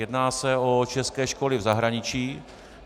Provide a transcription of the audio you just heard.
Jedná se o české školy v zahraničí.